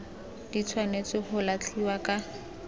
di tshwanetse go latlhiwa ka